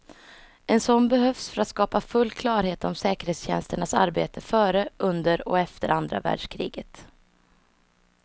En sådan behövs för att skapa full klarhet om säkerhetstjänsternas arbete före, under och efter andra världskriget.